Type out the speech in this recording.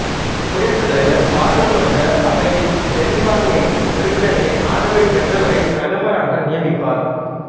குடியரசுத் தலைவர் பாராளுமன்ற அவையில் பெரும்பான்மை உறுப்பினர்களின் ஆதரவை பெற்றவரை பிரதமராக நியமிப்பார்